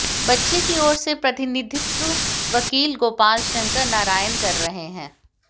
बच्चे की ओर से प्रतिनिधित्व वकील गोपाल शंकर नारायण कर रहे हैं